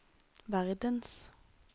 verdens